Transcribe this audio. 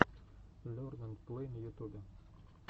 лерн энд плэй на ютубе